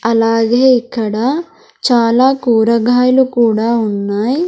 అలాగే ఇక్కడ చాలా కూరగాయలు కూడా ఉన్నాయ్.